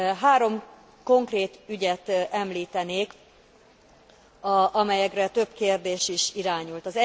Három konkrét ügyet említenék, amelyekre több kérdés is irányult.